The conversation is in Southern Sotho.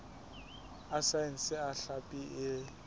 a saense a hlapi e